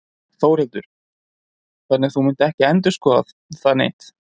Þórhildur: Þannig að þú munt ekki endurskoða það neitt?